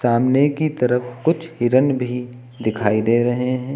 सामने की तरफ कुछ हिरन भी दिखाई दे रहे हैं।